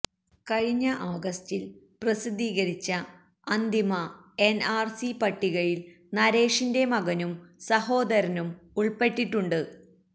കഴിഞ്ഞ ആഗസ്റ്റിൽ പ്രസിദ്ധീകരിച്ച അന്തിമ എൻ ആർ സി പട്ടികയിൽ നരേഷിന്റെ മകനും സഹോദരനും ഉൾപ്പെട്ടിട്ടുണ്ട്